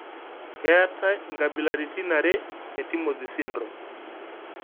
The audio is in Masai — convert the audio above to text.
keetai inkabilaritin are e Timothy syndrome .